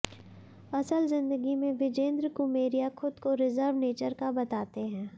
असल जिंदगी में विजेंद्र कुमेरिया खुद को रिजर्व नेचर का बताते हैं